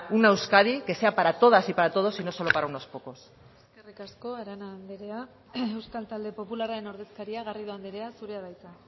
una euskadi que sea para todas y para todos y no solo para unos pocos eskerrik asko arana andrea euskal talde popularraren ordezkaria garrido andrea zurea da hitza